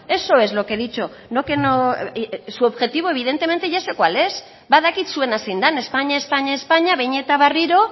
eso es lo que he dicho no que no su objetivo evidentemente ya sé cuál es badakit zuena zein dan espainia espainia espainia behin eta berriro